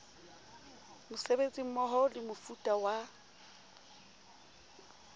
mosebetsi mmoho le mofuta wa